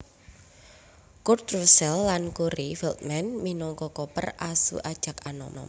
Kurt Russell lan Corey Feldman minangka Copper asu ajag anom